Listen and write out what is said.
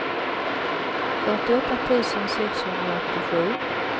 fyrtioåtta tusen sexhundraåttiosju